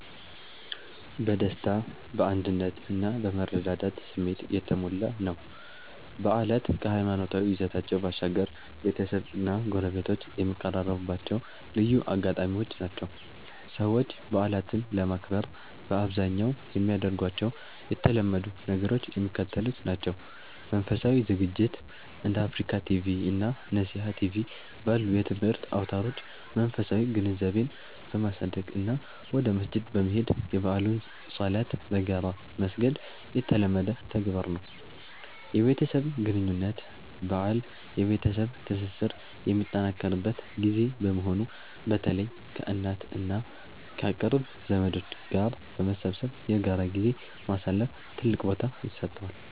በደስታ፣ በአንድነት እና በመረዳዳት ስሜት የተሞላ ነው። በዓላት ከሃይማኖታዊ ይዘታቸው ባሻገር፣ ቤተሰብና ጎረቤት የሚቀራረቡባቸው ልዩ አጋጣሚዎች ናቸው። ሰዎች በዓላትን ለማክበር በአብዛኛው የሚያደርጓቸው የተለመዱ ነገሮች የሚከተሉት ናቸው፦ መንፈሳዊ ዝግጅት፦ እንደ አፍሪካ ቲቪ እና ነሲሃ ቲቪ ባሉ የትምህርት አውታሮች መንፈሳዊ ግንዛቤን በማሳደግ እና ወደ መስጂድ በመሄድ የበዓሉን ሶላት በጋራ መስገድ የተለመደ ተግባር ነው። የቤተሰብ ግንኙነት፦ በዓል የቤተሰብ ትስስር የሚጠናከርበት ጊዜ በመሆኑ፣ በተለይ ከእናት እና ከቅርብ ዘመዶች ጋር በመሰብሰብ በጋራ ጊዜ ማሳለፍ ትልቅ ቦታ ይሰጠዋል።